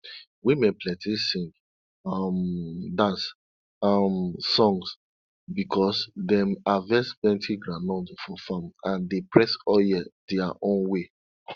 women plenty sing um dance um songs because dem harvest plenti groundnut for farm and dey press oil their own way